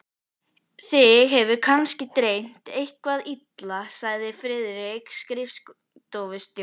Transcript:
Þig hefur kannski dreymt eitthvað illa, sagði Friðrik skrifstofustjóri.